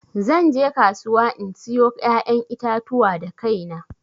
Zan je kasuwa in sayo ƴaƴan itatuwa da kaina.